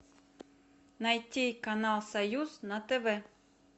найти канал союз на тв